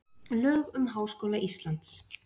Lög um Háskóla Íslands.